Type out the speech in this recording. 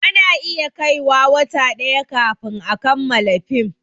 Ana iya kai wa wata ɗaya kafin a kamala fim